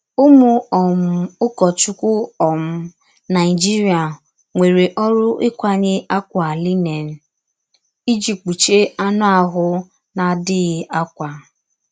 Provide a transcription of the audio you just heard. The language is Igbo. Ụ́mụ̀ um ụkọ̀chukwù um Naịjíríà nwerè òrụ́ íkwànyè àkwà línèn “ìjí kpùchíè ànụ̀ àhụ̀ na-adìghí àkwà.”